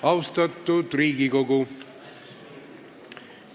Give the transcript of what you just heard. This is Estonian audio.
Austatud Riigikogu!